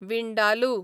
vindaloo